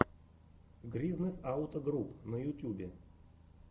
гризнэс ауто груп на ютубе